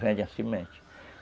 Vendem a semente.